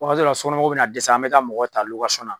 Wagati dɔ la sokɔnɔ mɔgɔw bɛ na dɛsɛ an mɛ taa mɔgɔw ta na.